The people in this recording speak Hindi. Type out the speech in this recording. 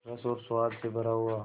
रस और स्वाद से भरा हुआ